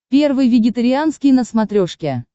первый вегетарианский на смотрешке